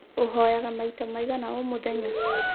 Ũhoyaga maita maigana o mũthenya?